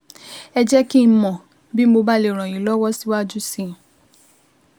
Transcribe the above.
Ẹ jẹ́ kí n mọ̀ bí mo bá lè ràn yín lọ́wọ́ síwájú sí i